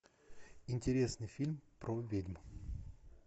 интересный фильм про ведьм